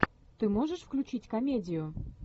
ты можешь включить комедию